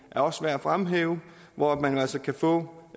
er også værd at fremhæve hvor man altså kan få